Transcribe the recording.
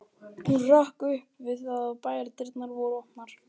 Hún hrökk upp við það að bæjardyrnar voru opnaðar.